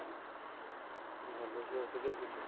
ଭଲ ଅଛି, ତୁ କେମିତି ଅଛୁ?